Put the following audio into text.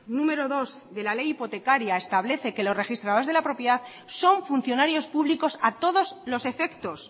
numero dos de la ley hipotecaria establece que los registradores de la propiedad son funcionarios públicos a todos los efectos